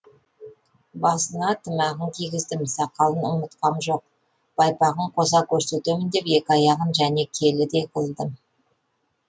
басына тымағын кигіздім сақалын ұмытқам жоқ байпағын қоса көрсетемін деп екі аяғын және келідей қылдым